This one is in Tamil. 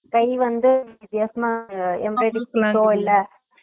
கைல வந்து வித்தியாசமா